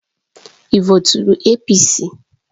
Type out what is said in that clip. Ị voturu APC: